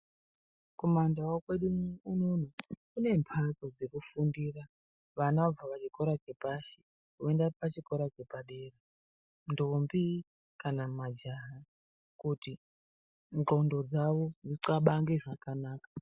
Kuma ndau kwedu unono kune mhatso dzekufundira vana vabve kuchikora chepashi voenda pachikora chepadera ndombi kanq majaha kuti ndxondo dzawo dzithabange zvakanaka.